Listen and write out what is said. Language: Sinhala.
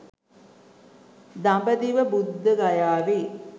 දඹදිව බුද්ධගයාවේ